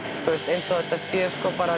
eins og þetta sé bara